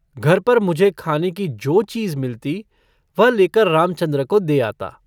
घर पर मुझे खाने की जो चीज़ मिलती वह लेकर रामचन्द्र को दे आता।